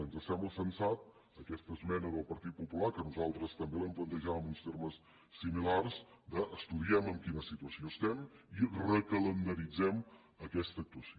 ens sembla sensata aquesta esmena del partit popular que nosaltres també l’hem plantejada en uns termes similars de estudiem en quina situació estem i recalendaritzem aquesta actuació